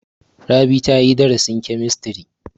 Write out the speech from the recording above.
Rabi ta yi darasin kemistiri.